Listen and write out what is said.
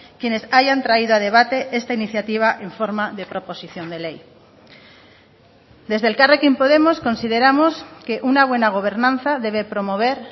quienes hayan traído a debate esta iniciativa en forma de proposición de ley desde elkarrekin podemos consideramos que una buena gobernanza debe promover